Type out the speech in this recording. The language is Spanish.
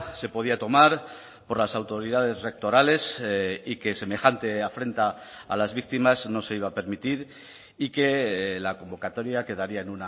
se podía tomar por las autoridades rectorales y que semejante afrenta a las víctimas no se iba a permitir y que la convocatoria quedaría en